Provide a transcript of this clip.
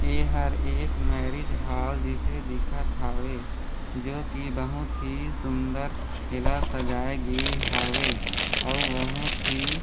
एहर एक marriage hall जिसे दिखत हावे जो की बहुत ही सुन्दर पीला सजाए गे हावे अउ बहुत ही--